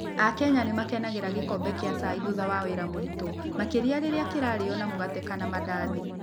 Akenya nĩ makenagĩra gĩkombe kĩa cai thutha wa wĩra mũritũ, makĩria rĩrĩa kĩrarutwo na mũgate kana mandarĩki.